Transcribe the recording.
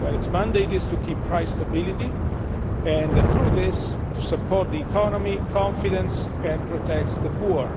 Its mandate is to keep price stability and, through this, to support the economy, maintain confidence and protect the poor.